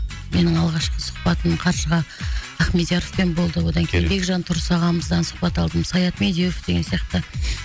менің алғашқы сұхбатым қаршыға ахмедияровпен болды одан кейін бекжан тұрыс ағамыздан сұхбат алдым саят медеуов деген сияқты